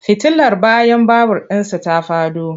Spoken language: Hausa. Fitilar bayan babur ɗin za ta faɗo.